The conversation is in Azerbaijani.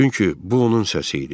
Çünki bu onun səsi idi.